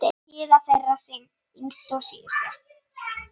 Gyða þeirra yngst og síðust.